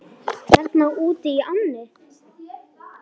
Þarna útí ánni?